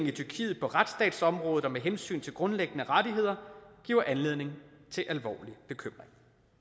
i tyrkiet på retsstatsområdet og med hensyn til grundlæggende rettigheder giver anledning til alvorlig bekymring